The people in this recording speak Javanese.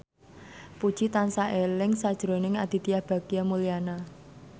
Puji tansah eling sakjroning Aditya Bagja Mulyana